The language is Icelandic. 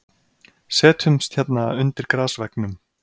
Setjumst hérna undir grasveggnum.